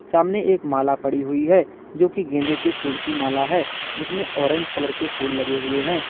सामने एक माला पड़ी हुई है जोकि गेंदे के फूल की माला है जिसमें ऑरेंज कलर के फूल लगे हुए हैं।